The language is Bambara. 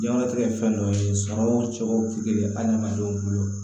Diɲɛ kɔnɔtigɛ ye fɛn dɔ ye sɔrɔ o cogo tɛ kelen ye adamadenw bolo